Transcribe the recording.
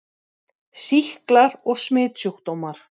SÝKLAR OG SMITSJÚKDÓMAR